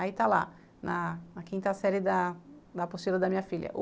Aí está lá, na quinta série da apostila da minha filha.